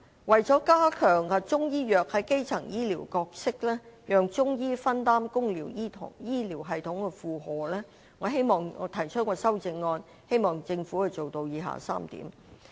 為加強中醫藥在基層醫療的角色，讓中醫分擔公營醫療系統的負荷，我提出修正案，希望政府做到以下3點。